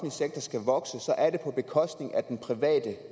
sektor skal vokse så er det på bekostning af den private